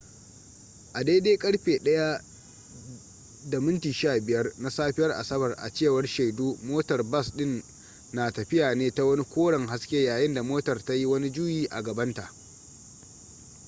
a daidai karfe 1:15 na safiyar asabar a cewar shaidu motar bas din na tafiya ne ta wani koren haske yayin da motar ta yi wani juyi a gabanta